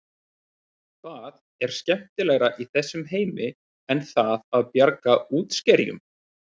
Hvað er skemmtilegra í þessum heimi en það að bjarga útskerjum?